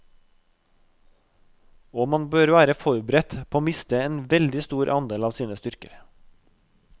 Og man bør være forberedt på å miste en veldig stor andel av sine styrker.